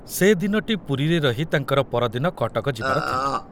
ସେ ଦିନଟି ପୁରୀରେ ରହି ତାଙ୍କର ପରଦିନ କଟକ ଯିବାର ଥିଲା।